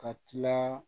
Ka tila